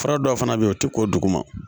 Fura dɔw fana bɛ yen o tɛ k'o duguma